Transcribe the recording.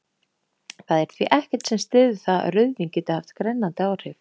Það er því ekkert sem styður það að rauðvín geti haft grennandi áhrif.